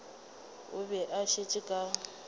o be a šetše ka